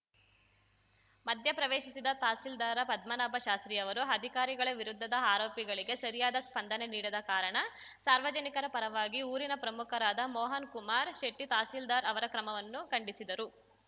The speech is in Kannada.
ಮಧ್ಯ ಪ್ರವೇಶಿಸಿದ ತಹಸೀಲ್ದಾರ್‌ ಪದ್ಮನಾಭ ಶಾಸ್ತ್ರೀಯವರು ಅಧಿಕಾರಿಗಳ ವಿರುದ್ಧದ ಆರೋಪಗಳಿಗೆ ಸರಿಯಾದ ಸ್ಪಂದನೆ ನೀಡದ ಕಾರಣ ಸಾರ್ವಜನಿಕರ ಪರವಾಗಿ ಊರಿನ ಪ್ರಮುಖರಾದ ಮೋಹನ್‌ಕುಮಾರ್‌ ಶೆಟ್ಟಿತಹಸೀಲ್ದಾರ್‌ ಅವರ ಕ್ರಮವನ್ನು ಖಂಡಿಸಿದರು